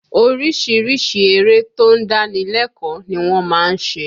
Orísìírísìí eré tó ń dáni lẹ́kọ̀ọ́ ni wọ́n má ń ṣe